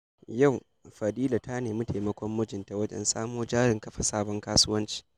Yau, Fadila za ta nemi taimakon mijinta wajen samo jarin kafa sabon kasuwanci.